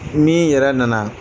N'i yɛrɛ na na